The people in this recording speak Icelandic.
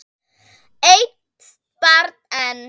Eitt barn enn?